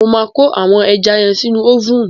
Mo máa kó àwọn ẹja yẹn sínú ófùnù.